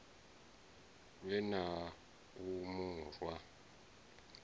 lwe na u mu rwa